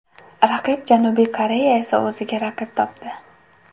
Raqib Janubiy Koreya esa o‘ziga raqib topdi.